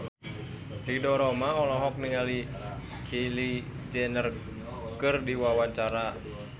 Ridho Roma olohok ningali Kylie Jenner keur diwawancara